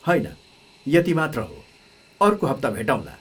होइन, यति मात्र हो, अर्को हप्ता भेटौँला।